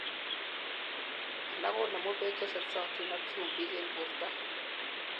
alak konemu beek chetesotin ak chumbik en borto